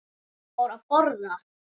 Hún fór að borða.